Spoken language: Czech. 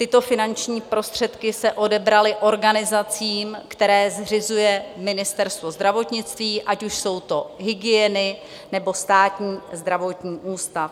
Tyto finanční prostředky se odebraly organizacím, které zřizuje Ministerstvo zdravotnictví, ať už jsou to hygieny, nebo Státní zdravotní ústav.